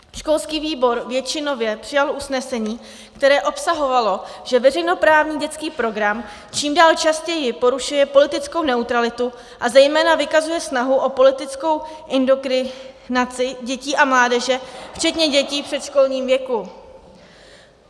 Školský výbor většinově přijal usnesení, které obsahovalo, že veřejnoprávní dětský program čím dál častěji porušuje politickou neutralitu a zejména vykazuje snahu o politickou indoktrinaci dětí a mládeže včetně dětí v předškolním věku.